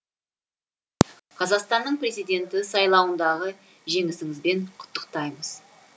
қазақстанның президенті сайлауындағы жеңісіңізбен құттықтаймыз